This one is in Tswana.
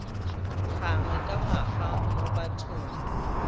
gangwe ka ngwaga mo bathong